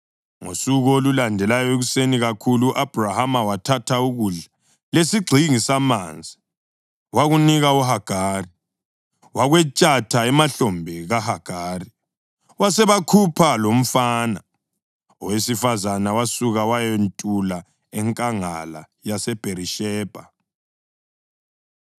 Ngosuku olulandelayo ekuseni kakhulu u-Abhrahama wathatha ukudla lesigxingi samanzi wakunika uHagari. Wakwetshata emahlombe kaHagari, wasebakhupha lomfana. Owesifazane wasuka wayantula enkangala yaseBherishebha.